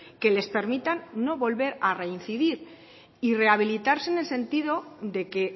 que les permitan no volver a reincidir y rehabilitarse en el sentido de que